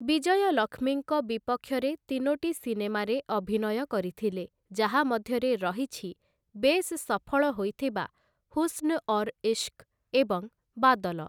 ବିଜୟଲକ୍ଷ୍ମୀଙ୍କ ବିପକ୍ଷରେ ତିନୋଟି ସିନେମାରେ ଅଭିନୟ କରିଥିଲେ, ଯାହା ମଧ୍ୟରେ ରହିଛି ବେଶ୍‌ ସଫଳ ହୋଇଥିବା 'ହୁସ୍ନ ଔର ଇଶ୍କ' ଏବଂ 'ବାଦଲ' ।